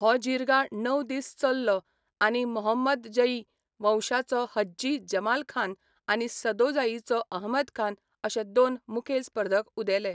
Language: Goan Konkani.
हो जिर्गा णव दीस चललो आनी मोहम्मदजई वंशाचो हज्जी जमालखान आनी सदोजाईचो अहमदखान अशे दोन मुखेल स्पर्धक उदेले.